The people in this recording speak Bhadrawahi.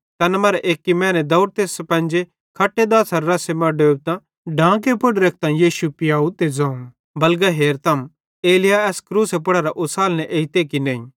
तैखन तैन मरां एक्की मैने दौड़तां स्पन्जे ज़ै पेनेरी ज़ेरी चीज़ चूसी सकचे खट्टे दाछ़ारे रस्से मां डुबेइतां डांगी पुड़ रेखतां यीशु जो चुसावं त ज़ोवं बलगा हेरम एलिय्याह एस क्रूसे पुड़ेरां उसालने एजते कि नईं